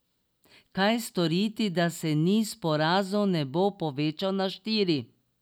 Kaj storiti, da se niz porazov ne bo povečal na štiri?